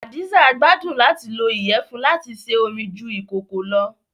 Hadiza gbàdun làti lo iyẹfun lati se ómi ju ikòkò lọ́